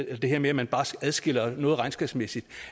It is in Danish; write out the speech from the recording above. og det her med at man bare adskiller noget regnskabsmæssigt